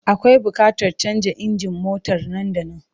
Akwai buƙatar canza injin motar nan da nan.